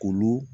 K'olu